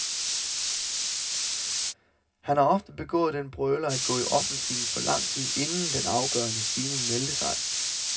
Han har ofte begået den brøler at gå i offensiven for lang tid inden, den afgørende stigning meldte sig.